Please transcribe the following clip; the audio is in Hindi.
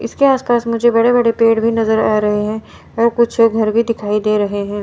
इसके आसपास मुझे बड़े बड़े पेड़ भी नजर आ रहे हैं और कुछ घर भी दिखाई दे रहे हैं।